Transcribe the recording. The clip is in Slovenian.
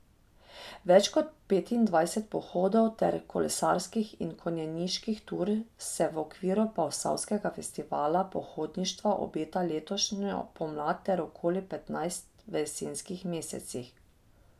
Več kot petindvajset pohodov ter kolesarskih in konjeniških tur se v okviru posavskega festivala pohodništva obeta letošnjo pomlad ter okoli petnajst v jesenskih mesecih.